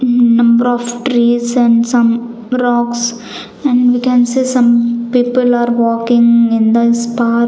um number of trees and some rocks and we can say some people are walking in this park.